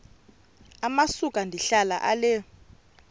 amasuka ndihlala ale